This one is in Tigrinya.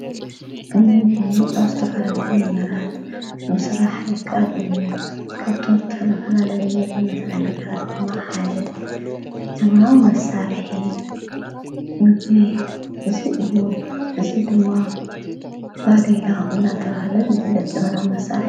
እምቢ ኣስተፈለለይ ነመራት ምስራሕይካድ እዩ ካብቶም ዘተለፍላለዊ መጊ መሠርሒ ነገራት ብማ ሓደ ዘመናዊ መሳርሒ ምጊ ዝ እዩ ዝ ድማ ባዲላ እናተዉሃለ ዘፍለጥ ዘመናዊ መሣርሐ።